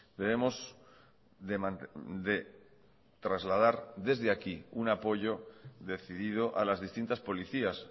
debemos de trasladar desde aquí un apoyo decidido a las distintas policías